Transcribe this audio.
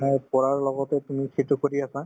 হয়, পঢ়াৰ লগতে তুমি সেইটোৰ প্ৰতি এটা